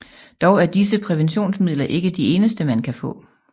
Dog er disse præventionsmidler ikke de eneste man kan få